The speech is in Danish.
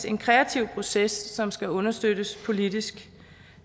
en kreativ proces som skal understøttes politisk